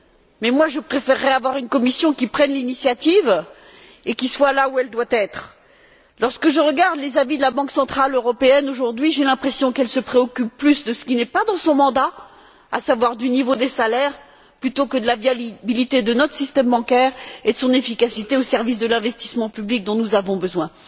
Mais moi, je préférerais avoir une Commission qui prenne l'initiative et qui soit là où elle doit être. Lorsque je regarde les avis de la Banque centrale européenne aujourd'hui, j'ai l'impression qu'elle se préoccupe plus de ce qui n'est pas dans son mandat, à savoir du niveau des salaires, plutôt que de la viabilité de notre système bancaire et de son efficacité au service de l'investissement public dont nous avons besoin.